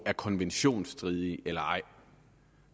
er konventionsstridigt eller ej